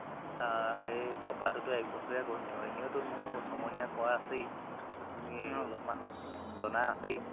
আ হেৰি কপাৰতোতো এক বছৰীয়া course আৰু এনেওতো মোৰ চহমহিয়া কৰা আছেই যঠেষ্ট খিনি অলপমান জনা আছেই